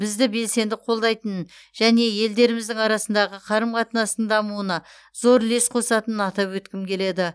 бізді белсенді қолдайтынын және елдеріміздің арасындағы қарым қатынастың дамуына зор үлес қосатынын атап өткім келеді